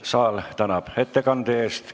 Saal tänab ettekande eest!